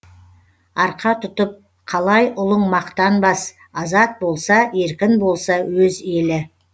арқа тұтып қалай ұлың мақтанбас азат болса еркін болса өз елі